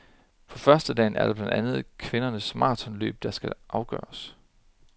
På førstedagen er det blandt andet kvindernes maratonløb, der skal afgøres.